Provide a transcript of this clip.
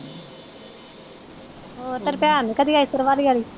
ਹੋਰ ਤੇਰੀ ਭੈਣ ਨੀ ਕਦੀ ਆਈ ਸਰਵਾਲੀ ਆਲੀ।